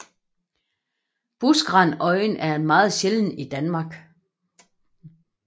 Buskrandøjen er meget sjælden i Danmark